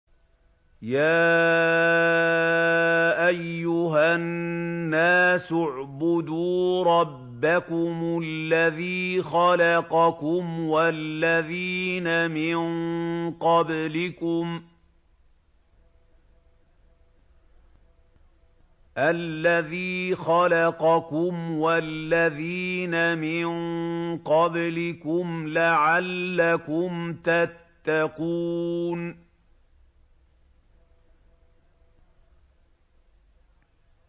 يَا أَيُّهَا النَّاسُ اعْبُدُوا رَبَّكُمُ الَّذِي خَلَقَكُمْ وَالَّذِينَ مِن قَبْلِكُمْ لَعَلَّكُمْ تَتَّقُونَ